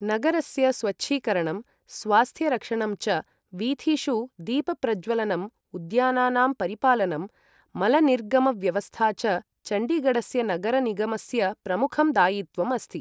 नगरस्य स्वच्छीकरणं, स्वास्थ्य रक्षणं च, वीथीषु दीप प्रज्ज्वलनम्, उद्यानानां परिपालनं, मलनिर्गम व्यवस्था च चण्डीगढस्य नगर निगमस्य प्रमुखं दायित्वम् अस्ति।